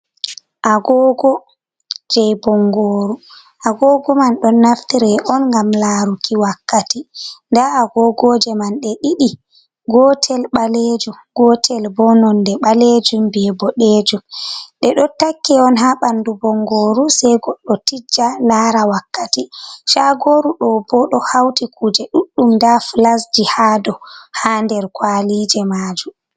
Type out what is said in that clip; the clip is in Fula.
Agoogo, jey bonngooru, agoogo man ɗon naftire on ngam laaruki wakkati, nda agoogoje man ɗe ɗiɗi, gootel ɓaleejum, gootel boo nonnde ɓaleejum bee boɗeejum, ɗe ɗo takki on haa ɓanndu bongooru, sey goɗɗo tijja laara wakkati. Caagooru ɗo boo ɗo hawti kuuje ɗuɗɗum, ndaa flasji haa dow haa nder kwalije maaju.